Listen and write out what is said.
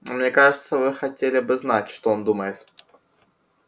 а мне кажется вы хотели бы знать что он думает